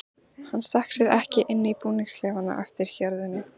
Hann stakk sér ekki inn í búningsklefann á eftir hjörðinni.